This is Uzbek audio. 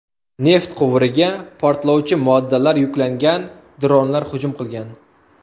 Neft quvuriga portlovchi moddalar yuklangan dronlar hujum qilgan.